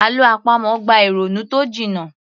Àlọ́ àpamọ̀ gba ìrònú tó jiná